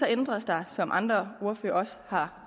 ændres der som andre ordførere også har